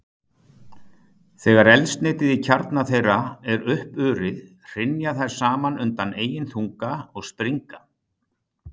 Þegar eldsneytið í kjarna þeirra er uppurið, hrynja þær saman undan eigin þunga og springa.